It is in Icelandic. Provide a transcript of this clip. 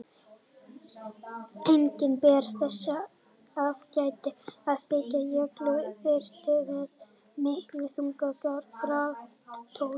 Einnig ber þess að gæta að þykkur jökull þrýstir með miklum þunga á graftólin.